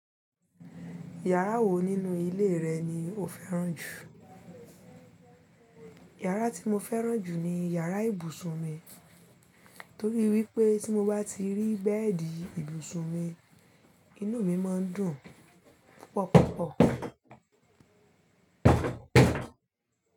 Yàrá wo nínú ilé rẹ ni o fẹ́ràn jù? Yàrá tí mo fẹ́ràn jù ni yàrá ibùsùn mi, torí wípé tí mo bá ti rí bed ibùsùn mi, inú mi máa ń dùn púpọ̀púpọ̀.